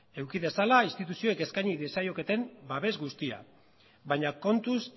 eduki dezala instituzioek eskaini diezaioketen babes guztia baina kontuz